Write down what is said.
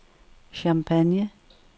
Champagne